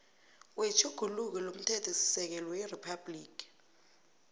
wetjhuguluko lomthethosisekelo weriphabhligi